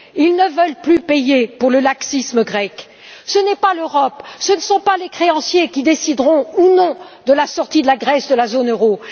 Ils ne veulent plus payer pour le laxisme grec. Ce n'est pas l'Europe, ce ne sont pas les créanciers qui décideront ou non de la sortie de la Grèce de la zone euro.